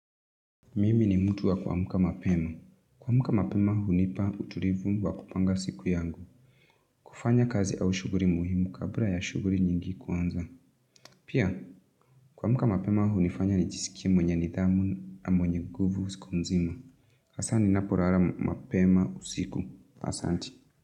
Mimi ni mtu wa kuamka mapema. Kuamka mapema hunipa utulivu wa kupanga siku yangu. Kufanya kazi au shughuli muhimu kabla ya shughuli nyingi kuanza. Pia, kuamka mapema hunifanya nijisikie mwenye nidhamu na mwenye nguvu siku mzima. Hasa ninapolala mapema usiku. Asanti.